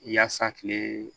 Yaasa kile